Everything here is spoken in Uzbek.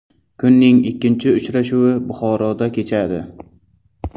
Kunning ikkinchi uchrashuvi Buxoroda kechadi.